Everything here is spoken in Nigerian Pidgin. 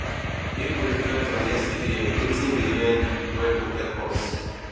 make we reflect on yesterday wetin we learn wey go help us